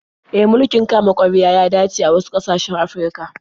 E, mulkin kama-karya ya dace da wasu ƙasashen Afirka.